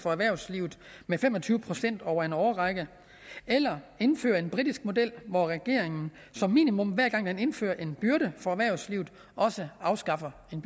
for erhvervslivet med fem og tyve procent over en årrække eller indføre en britisk model hvor regeringen som minimum hver gang den indfører en byrde for erhvervslivet også afskaffer en